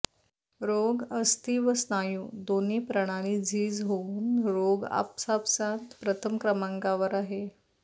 रोग अस्थी व स्नायू दोन्ही प्रणाली झीज होऊन रोग आपापसांत प्रथम क्रमांकावर आहे